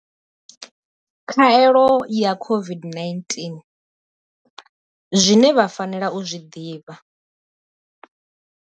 Khaelo ya COVID-19, Zwine vha fanela u zwi ḓivha.